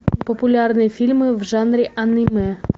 популярные фильмы в жанре аниме